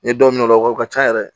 N ye dɔw minɛ o la o ka ca yɛrɛ